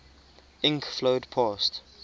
ink flowed past